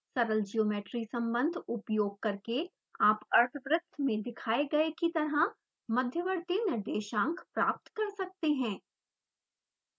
सरल ज्योमेट्री सम्बन्ध उपयोग करके आप अर्धवृत्त में दिखाए गए की तरह मध्यवर्ती निर्देशांक प्राप्त कर सकते हैं